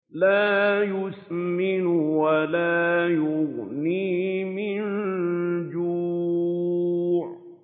لَّا يُسْمِنُ وَلَا يُغْنِي مِن جُوعٍ